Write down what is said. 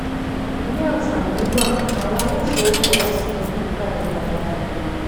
bí àǹfààní wà àwọn aláṣẹ ò fọwọ sí ìyípadà pàtàkì